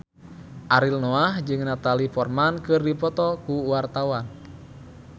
Ariel Noah jeung Natalie Portman keur dipoto ku wartawan